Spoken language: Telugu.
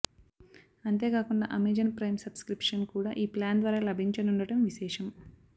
అంతే కాకుండా అమెజాన్ ప్రైమ్ సబ్ స్క్రిప్షన్ కూడా ఈ ప్లాన్ ద్వారా లభించనుండటం విశేషం